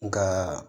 Nka